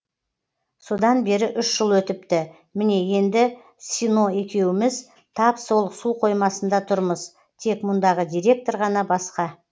содан бері үш жыл өтіпті міне енді сино екеуміз тап сол су қоймасында тұрмыз тек мұндағы директор ғана басқа